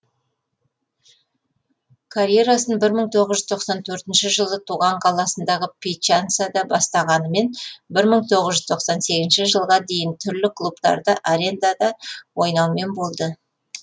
карьерасын бір мың тоғыз жүз тоқсан төртінші жылы туған қаласындағы пьяченсада бастағанымен бір мың тоғыз жүз тоқсан сегізінші жылға дейін түрлі клубтарда арендада ойнаумен болды